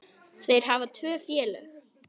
Þeir hafa tvö félög.